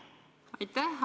Aitäh!